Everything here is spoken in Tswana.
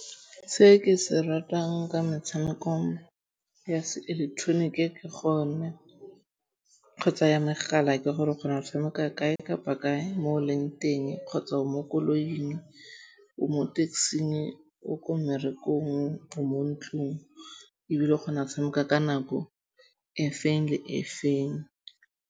Se ke se ratang ka metshameko ya seileketoroniki ke gone kgotsa ya megala ke gore o kgona go tshameka kae kapa kae mo o leng teng, kgotsa o mo koloing, o mo taxi-ng, o ko mmerekong, o mo ntlong ebile o kgona go tshameka ka nako e feng le e feng.